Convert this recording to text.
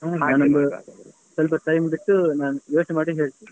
ಸ್ವಲ್ಪ friends ಯೋಚ್ನೆ ಮಾಡಿ ಹೇಳ್ತೇನೆ.